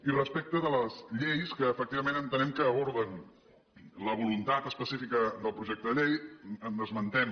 i respecte de les lleis que efectivament entenem que aborden la voluntat específica del projecte de llei n’esmentem